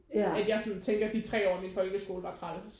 At jeg sådan tænker de tre år af min folkeskole var træls